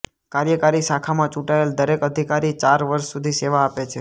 કાર્યકારી શાખામાં ચૂંટાયેલ દરેક અધિકારી ચાર વર્ષ સુધી સેવા આપે છે